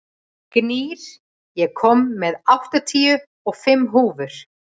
Gnýr, ég kom með áttatíu og fimm húfur!